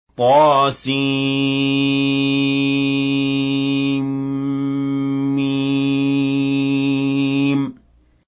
طسم